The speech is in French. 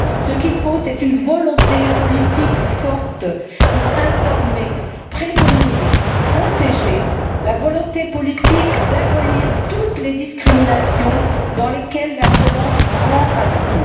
Ce qu'il faut, c'est une volonté politique forte pour informer, prévenir, protéger, la volonté politique d'abolir toutes les discriminations dans lesquelles la violence prend racine.